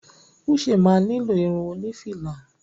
Uche máa ni lo irun oni fìlà.